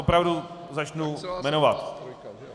Opravdu začnu jmenovat.